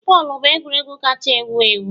Bọọlụ bụ egwuregwu kacha ewu ewu